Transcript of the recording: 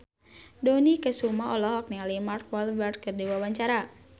Dony Kesuma olohok ningali Mark Walberg keur diwawancara